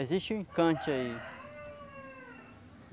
Existe um encante aí.